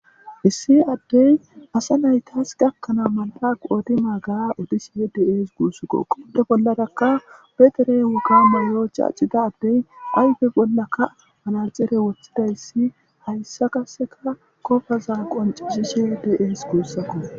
Issi addey asa naytas gakkanaa mal'a qoodi maagaa odishee dees guussko qude bollataka peteren woka malayocha accida addey ayfe bollaka manacere wothidayssi hayssa kaseka kofaza qoncizishe deees guussakko.